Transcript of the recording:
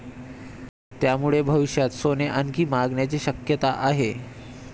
त्यामुळे भविष्यात सोने आणखी महागण्याची शक्यता आहे.